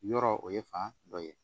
Yɔrɔ o ye fan dɔ ye